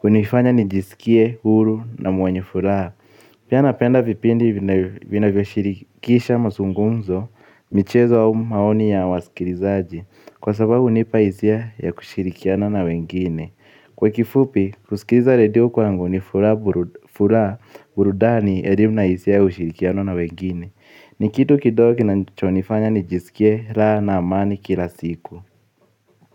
kunifanya nijisikie huru na mwenye furaha. Pia napenda vipindi vinavyoshirikisha mazungumzo michezo wa maoni ya wasikilizaji. Kwa sababu hunipa hisia ya kushirikiana na wengine. Kwa kifupi kusikiliza radio kwangu ni furaha burudani elimu na hisia ya ushirikiano na wengine. Ni kitu kidogi kinachonifanya nijisikie raha na amani kila siku. Muziki.